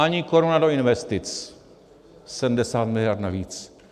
Ani koruna do investic, 70 mld. navíc.